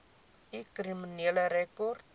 u kriminele rekord